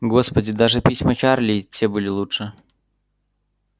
господи даже письма чарли и те были лучше